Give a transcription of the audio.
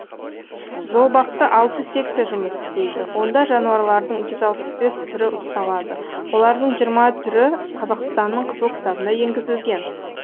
зообақта алты секция жұмыс істейді онда жануарлардың жүз алпыс бесі түрі ұсталады олардың жиырма түрі қазақстанның қызыл кітабына енгізілген